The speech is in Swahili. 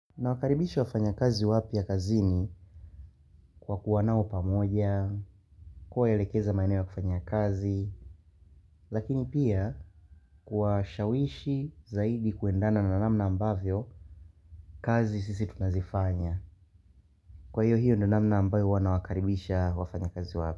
Nawakaribisha wafanyakazi wapya kazini kwa kuwa nao pamoja kuwaelekeza maeneo ya kufanya kazi lakini pia kuwashawishi zaidi kuendana na namna ambavyo kazi sisi tunazifanya. Kwa hiyo hiyo ndo namna ambayo wana wakaribisha wafanya kazi wapya.